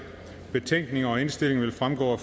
betænkningen og indstillingen vil fremgå